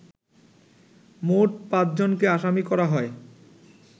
মোট পাঁচজনকে আসামি করা হয়